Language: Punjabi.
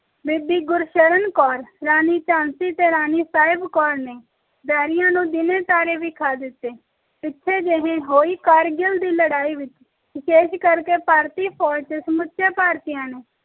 ਬੀਬੀ ਗੁਰਸ਼ਰਨ ਕੌਰ ਤੇ ਰਾਣੀ ਝਾਂਸੀ ਤੇ ਰਾਣੀ ਸਾਹਿਬ ਕੌਰ ਨੇ ਵੈਰੀਆਂ ਨੂੰ ਦੀਨੇ ਤਾਰੇ ਵਿਖਾ ਦਿੱਤੇ ਪਿੱਛੇ ਝੀ ਹੋਈ ਕਾਰਗਿਲ ਦੀ ਲੜਾ ਵਿਚ ਵਿਸ਼ੇਸ਼ ਕਰਕੇ ਭਾਰਤੀ ਫੌਜ ਵਿਚ ਸਮੁਚੇ ਭਾਰਤੀਆਂ ਨੇ